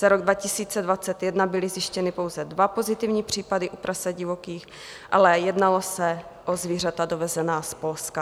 Za rok 2021 byly zjištěny pouze dva pozitivní případy u prasat divokých, ale jednalo se o zvířata dovezená z Polska.